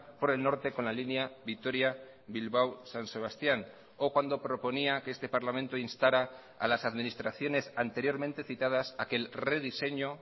por el norte con la línea vitoria bilbao san sebastián o cuando proponía que este parlamento instara a las administraciones anteriormente citadas a que el rediseño